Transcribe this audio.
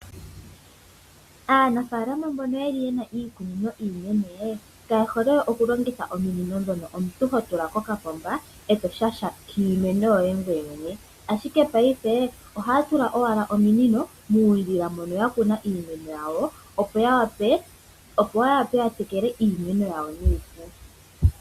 Aanafaalama mbono ye na iikunino iinene, kaye hole okulongitha ominino dhoka omuntu ho tula kokapomba, eto shashamine ihe ngoye mwene, ashike paife ohaya tula owala ominino moondjila moka ya kuna iimeno yawo, opo ya wape okutekela iimeno yawo nuupu.